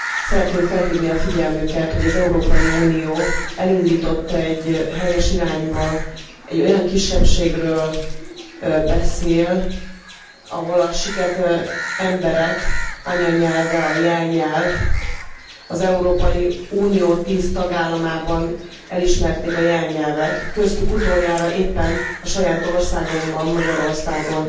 Szeretném felhívni a figyelmüket, hogy az Európai Unió elindított egy helyes irányba egy olyan kisebbségről beszél, ahol a siket emberek anyanyelve, a jelnyelv az Európai Unió 10 tagállamában elismerték a jelnyelvet, köztük utoljára éppen a saját országomban, Magyarországon.